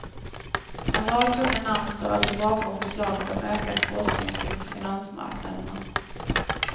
En rad tunga namn står alltså bakom förslaget om ökad forskning kring finansmarknaderna.